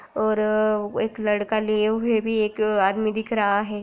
ऑररर एक लड़का लिये हुए भी एक आदमी दिख रहा है।